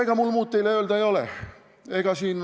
Ega mul teile muud öelda ei olegi.